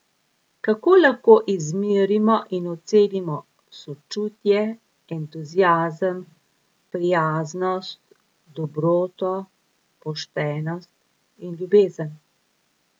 Kako lahko izmerimo in ocenimo sočutje, entuziazem, prijaznost, dobroto, poštenost in ljubezen?